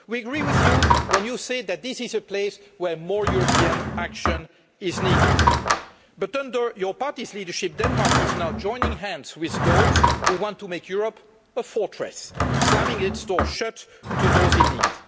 We agree with you when you say that this is a place where more European action is needed. But, under your party's leadership, Denmark is now joining hands with those who want to make Europe a fortress, slamming its door shut to those in need.